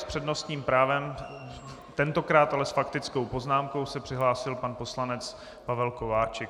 S přednostním právem, tentokrát ale s faktickou poznámkou se přihlásil pan poslanec Pavel Kováčik.